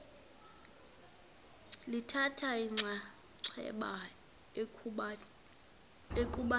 lithatha inxaxheba ekubhaleni